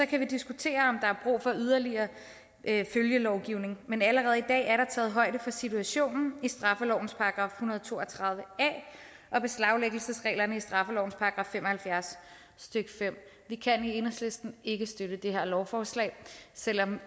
kan vi diskutere om der er brug for yderligere følgelovgivning men allerede i dag er der taget højde for situationen i straffelovens § en hundrede og to og tredive a og beslaglæggelsesreglerne i straffelovens § fem og halvfjerds stykke femte vi kan i enhedslisten ikke støtte det her lovforslag selv om